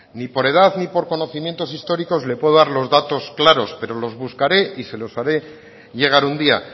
ni por edad ni por conocimientos históricos le puedo dar los datos claros pero los buscaré y se los haré llegar un día